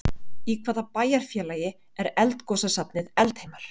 Í hvaða bæjarfélagi er eldgosasafnið Eldheimar?